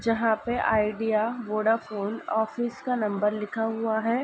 जहाँ पे Idea Vodafone office का नंबर लिखा हुआ हैं।